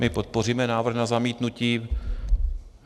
My podpoříme návrh na zamítnutí.